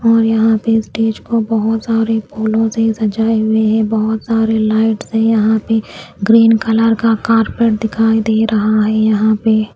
और यहां पे स्टेज को बहुत सारे फूलों से सजाए हुए हैं। बहुत सारे लाइट्स है यहां पे ग्रीन कलर का कारपेट दिखाई दे रहा है यहां पे --